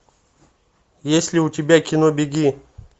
есть ли у тебя кино беги